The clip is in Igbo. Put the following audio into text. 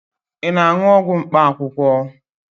Ị na-aṅụ ọgwụ mkpaakwụkwọ?